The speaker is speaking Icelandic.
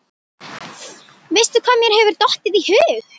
Veistu hvað mér hefur dottið í hug?